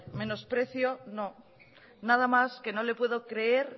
menosprecio no nada más que no le puedo creer